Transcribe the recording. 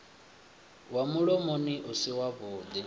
wa mulomoni u si wavhuḓi